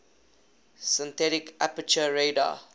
synthetic aperture radar